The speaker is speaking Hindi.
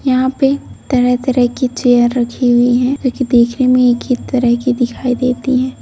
यहां पे तरह-तरह की चेयर रखी हुई है लेकिन दिखी नहीं किस तरह की दिखाई देती है।